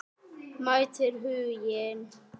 Mætir Huginn?